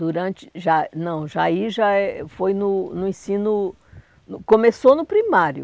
Durante... Já, não, já aí já é foi no no ensino... No começou no primário.